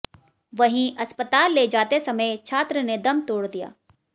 वहीं अस्पताल ले जाते समय छात्र ने दम तोड़ दिया